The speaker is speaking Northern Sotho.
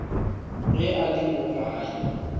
ge a le mo gae